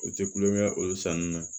O tɛ kulonkɛ olu san ninnu na